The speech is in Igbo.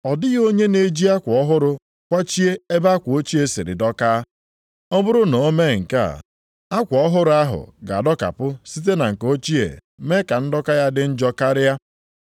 “Ọ dịghị onye na-eji akwa ọhụrụ kwachie ebe akwa ochie siri dọkaa. Ọ bụrụ na o mee nke a, akwa ọhụrụ ahụ ga-adọkapụ site na nke ochie mee ka ndọka ya dị njọ karịa.